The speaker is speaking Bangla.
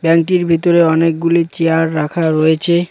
ব্যাঙ্কটির ভিতরে অনেকগুলি চেয়ার রাখা রয়েছে।